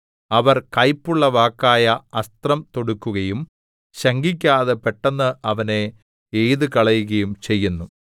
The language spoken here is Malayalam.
അവർ കൈപ്പുള്ള വാക്കായ അസ്ത്രം തൊടുക്കുകയും ശങ്കിക്കാതെ പെട്ടെന്ന് അവനെ എയ്തുകളയുകയും ചെയ്യുന്നു